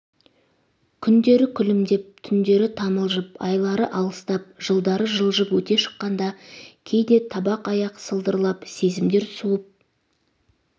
күндері күлімдеп түндері тамылжып айлары алыстап жылдары жылжып өте шыққанда кейде табақ аяқ сылдырлап сезімдер суып